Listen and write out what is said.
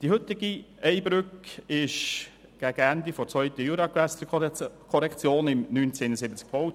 Die heutige Ey-Brücke wurde gegen Ende der zweiten Juragewässerkorrektion 1971 gebaut.